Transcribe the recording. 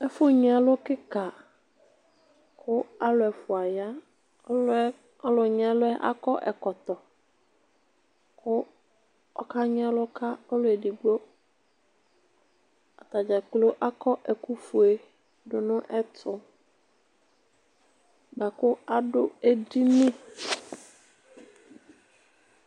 Ɛfu nyi ɛlʋ kika ku alu ɛfua ya ku ɔlu nyi ɛlʋ yɛ akɔ ɛkɔtɔku ɔkanyi ɛlʋ ka ɔlu edigboataɖzakplo akɔ ɛkʋfue dunu ɛtubuaku adu edini